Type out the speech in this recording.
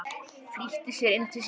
Flýtti sér inn til sín.